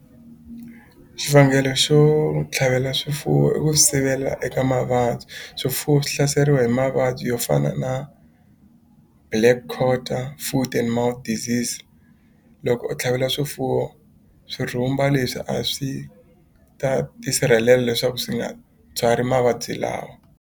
Xivangelo xo tlhavela swifuwo i ku sivela eka mavabyi swifuwo swi hlaseriwa hi mavabyi yo fana na Black quarter, Foot and mouth disease loko u tlhavela swifuwo swi rhumba leswi a swi ta tisirhelela leswaku swi nga byali mavabyi lawa.